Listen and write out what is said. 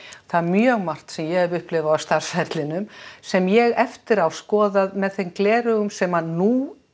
það er mjög margt sem ég hef upplifað á starfsferlinum sem ég hef eftir á skoðað með þeim gleraugum sem að nú